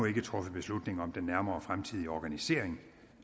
ikke truffet beslutning om den nærmere fremtidige organisering